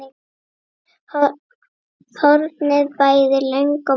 hornin bæði löng og mjó.